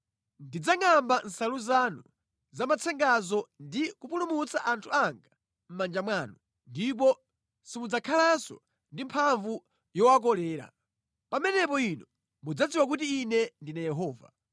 Ndidzangʼamba nsalu zanu za matsengazo ndi kupulumutsa anthu anga mʼmanja mwanu, ndipo simudzakhalanso ndi mphamvu yowakolera. Pamenepo inu mudzadziwa kuti Ine ndine Yehova.